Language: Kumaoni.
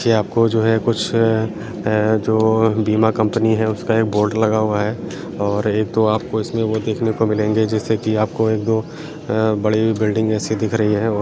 देखिये आपको जो है कुछ अ-जो बीमा कॉम्पनी है उसका एक बोर्ड लगा हुआ है और एक तो आपको इसमें वो देखने को मिलेंगे जिससे की आपको एक दो अ-बड़ी बिल्डिंग जैसी दिख रही है और --